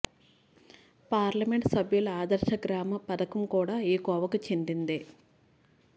parliament సభ్యుల ఆదర్శ గ్రామ పథకం కూడా ఈ కోవకు చెందిందే